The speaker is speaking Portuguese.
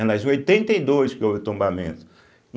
aliás, em oitenta e dois que houve o tombamento.